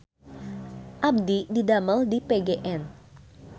Abdi didamel di PGN